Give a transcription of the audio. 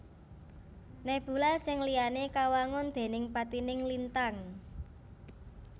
Nebula sing liyané kawangun déning patining lintang